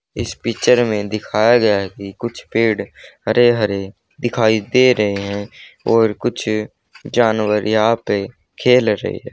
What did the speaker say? इस पिक्चर में दिखाया गया कि कुछ पेड़ हरे हरे दिखाई दे रहे हैं और कुछ जानवर यहां पे खेल रहे हैं।